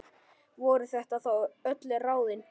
Voru þetta þá öll ráðin?